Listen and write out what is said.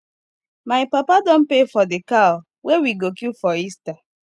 my papa don pay for di cow wey we go kill for easter